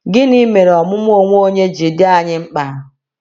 Gịnị mere ọmụmụ onwe onye ji dị anyị mkpa?